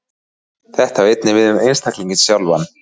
Þetta á einnig við um einstaklinginn sjálfan.